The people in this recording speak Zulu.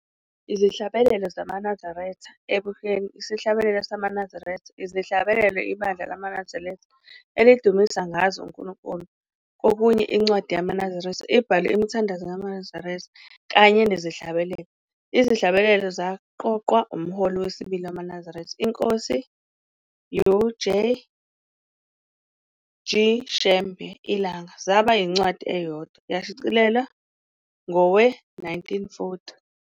Izihlabelelo ZamaNazaretha, ebunyeni- isihlabelelo samaNazaretha, izihlabelelo ibandla lamaNazaretha elidumisa ngazo uNkulunkulu kokunye incwadi yamaNazaretha ebhalwe imithandazo yamaNazaretha kanye nezihlabelelo. Izihlabelelo zaqoqwa umholi wesibili wamaNazaretha iNkosi uJ. G. Shembe, iLanga, zaba yincwadi eyodwa, yashicilelwa ngowe-1940.